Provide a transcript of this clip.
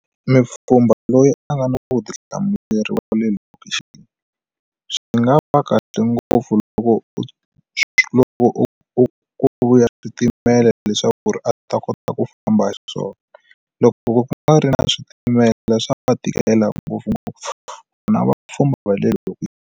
Mipfhumba loyi a nga na vutihlamuleri va le lokshin swi nga va kahle ngopfu loko u loko u ku vuya switimela leswaku ku ri a ta kota ku famba hi swona loko loko ku nga ri na switimela swa va tikela ngopfungopfu na vapfhumba va le loku.